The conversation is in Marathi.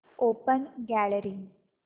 open gallery